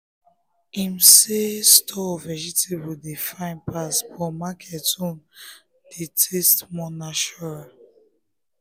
him say store vegetable dey fine pass but market own dey taste more natural.